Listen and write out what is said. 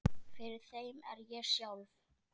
Fyrir þeim er ég sjálf